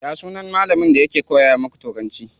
Ya sunan malamin da yake koya muku turanci?